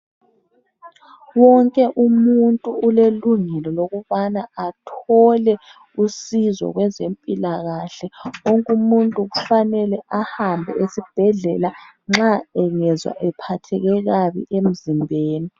wonke umuntu ulelungelo lokubana athole usizo kwezempilakahle wonke umuntu kufanele ahambe esibhedlela nxa engazwa ephatheke kabi emzimbeni